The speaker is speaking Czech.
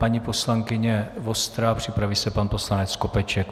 Paní poslankyně Vostrá, připraví se pan poslanec Skopeček.